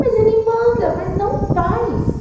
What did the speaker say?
Mas ele manda, mas não faz.